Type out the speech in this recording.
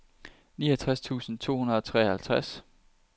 niogtres tusind to hundrede og treoghalvtreds